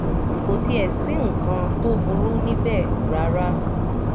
kò tiẹ̀ sí nǹkan tó burú níbẹ̀ rárá